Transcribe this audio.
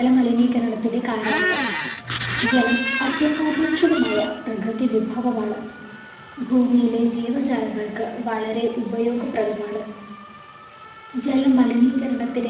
ജലമലിനീകരണത്തിൻ്റെ കാരണങ്ങൾ ജലം അത്യന്താപേക്ഷിതമായ പ്രകൃതി വിഭവമാണ് ഭൂമിയിലെ ജീവജാലങ്ങൾക്ക് വളരെ ഉപയോഗപ്രദമാണ് ജലമലിനീകരണത്തിൻ്റെ